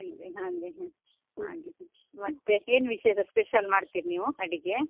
ಹಾಗೆ ಹ ಹಾಗೆ ಮತ್ತೆ ಏನ್ ವಿಶೇಷ special ಮಾಡ್ತಿರಿ ನೀವ್ ಅಡಿಗೆ?